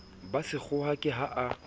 ba sekgowa ke ha a